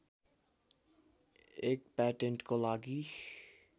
एक प्याटेन्टको लागि